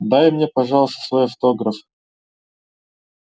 дай мне пожалуйста свой автограф